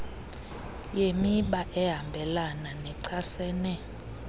yemiba ehambelana nechasene